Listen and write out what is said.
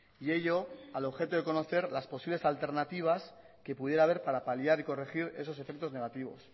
y ello al objeto de conocer las posibles alternativas que pudiera haber para paliar y corregir esos efectos negativos